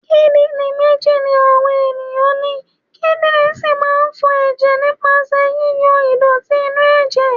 Kídírìn méjì ni àwa ẹ̀yàn ni, kídírìn sì máa ń fọ ẹ̀jẹ̀ nípasẹ̀ yí yọ ìdọ̀tí inú ẹ̀jẹ̀.